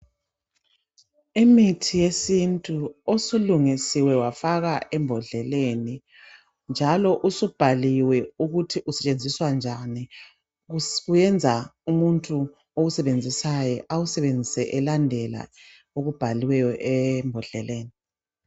Imithi yesintu osulungisiwe wafakwa embodleleni njalo usubhaliwe ukuthi usentshenziswa njani. Kuyenza umuntu owusebenzisayo awusebenzise elandela okubhaliweyo embodleleni.